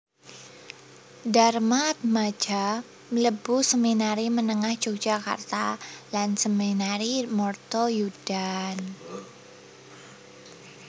Darmaatmadja mlebu Seminari Menengah Yogyakarta lan Seminari Mertoyudan